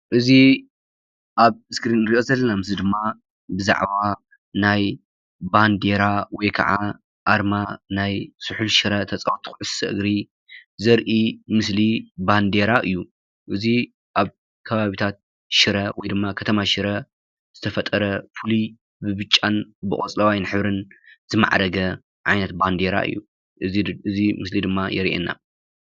እዚ ኣብ እስክሪን ንሪኦ ዘለና ምስሊ ድማ ብዛዕባ ናይ ባንዴራ ወይ ከዓ ኣርማ ናይ ስሑል ሽረ ተፃወቲ ኩዕሾ እግሪ ዘርኢ ምስሊ ባንዴራ እዩ። እዚ ኣብ ከባብታት ሽረ ወይ ድማ ከተማ ሽረ ዝተፈጠረ ፍሉይ ብብጫን ቆፅለዋይ ሕብርን ዝመዕረገ ዓይነት ባንዴራ እዩ። እዚ ምስሊ ድማ የሪአና ።